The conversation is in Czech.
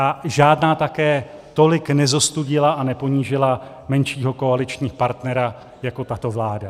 A žádná také tolik nezostudila a neponížila menšího koaličního partnera jako tato vláda.